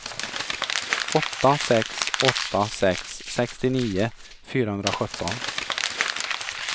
åtta sex åtta sex sextionio fyrahundrasjutton